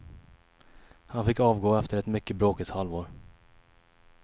Han fick avgå efter ett mycket bråkigt halvår.